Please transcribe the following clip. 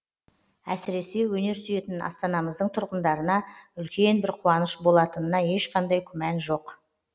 әсіресе өнер сүйетін астанамыздың тұрғындарына үлкен бір қуаныш болатынына ешқандай күмән жоқ